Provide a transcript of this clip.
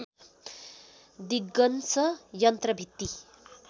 दिगन्श यन्त्र भित्ति